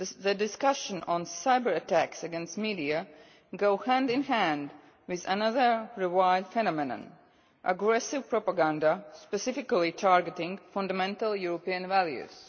the discussion of cyber attacks against the media goes hand in hand with another revived phenomenon aggressive propaganda specifically targeting fundamental European values.